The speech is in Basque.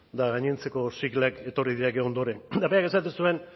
eta gainontzeko siglak etorri dira gero ondoren eta berak esaten zuen